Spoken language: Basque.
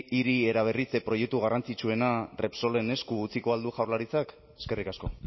hiri eraberritze proiektu garrantzitsuena repsolen esku utziko al du jaurlaritzak eskerrik asko